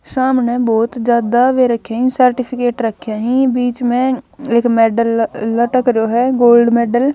सामणह बहुत ज्यादा वें रख्या हं सर्टिफिकेट रख्या हं बीच म एक मेडल लटक रयो ह गोल्ड मेडल ।